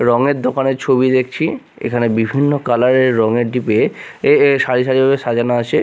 রঙের দোকানের ছবি দেখছি এখানে বিভিন্ন কালার -এর রঙের ডিবে এ এ সারি সারি ভাবে সাজানো আছে।